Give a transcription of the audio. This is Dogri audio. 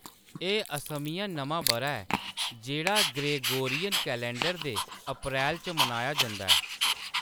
एह्‌‌ असमिया नमां बʼरा ऐ जेह्‌‌ड़ा ग्रेगोरियन कैलेंडर दे अप्रैल च मनाया जंदा ऐ।